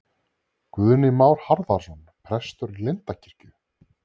Guðni Már Harðarson prestur í Lindakirkju